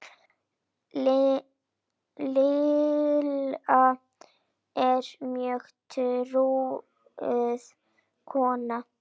Lilla var mjög trúuð kona.